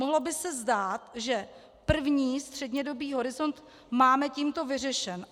Mohlo by se zdát, že první střednědobý horizont máme tímto vyřešen.